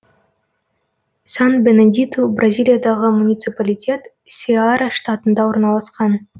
сан бенедиту бразилиядағы муниципалитет сеара штатында орналасқан